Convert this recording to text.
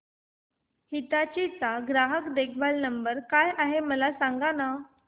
हिताची चा ग्राहक देखभाल नंबर काय आहे मला सांगाना